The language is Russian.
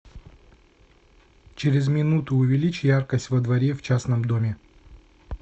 через минуту увеличь яркость во дворе в частном доме